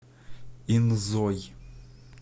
инзой